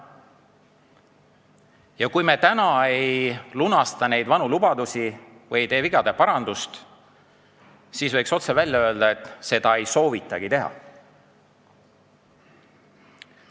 Ja kui me nüüd ei lunasta neid vanu lubadusi või ei tee vigade parandust, siis võiks otse välja öelda, et seda ei soovitagi teha.